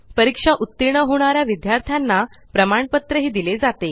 परीक्षा उत्तीर्ण होणाऱ्या विद्यार्थ्यांना प्रमाणपत्र दिले जाते